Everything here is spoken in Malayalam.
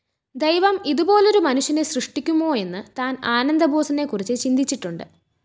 ദൈവം ഇതുപോലൊരു മനുഷ്യനെ സൃഷ്ടിക്കുമോയെന്ന് താന്‍ ആനന്ദബോസിനെ കുറിച്ച് ചിന്തിച്ചിട്ടുണ്ട്